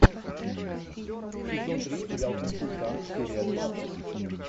сезон три сериал консультант серия двадцать